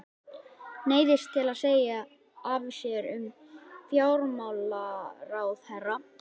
Neyðist til að segja af sér sem fjármálaráðherra.